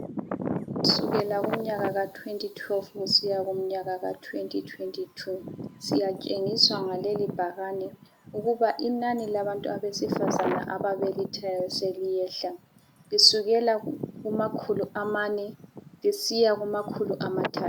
Kusukela kumnyaka ka2012 kusiya komnyaka ka2022, siyatshengiswa ngalelibhakane ukuba inani labantu abesifazana ababelethayo seliyehla .Lisukela kumakhulu amane. Lisiya kumakhulu amathathu.